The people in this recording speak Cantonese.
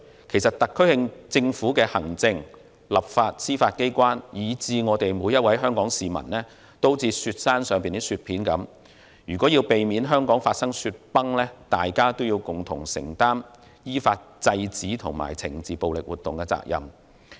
其實，特區政府的行政、立法、司法機關，以至每位香港市民都有如雪山上的雪片，如要避免香港發生雪崩，大家便要共同承擔依法制止和懲治暴力活動的責任！